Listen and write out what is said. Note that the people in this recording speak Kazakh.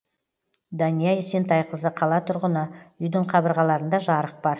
дания есентайқызы қала тұрғыны үйдің қабырғаларында жарық бар